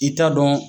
I t'a dɔn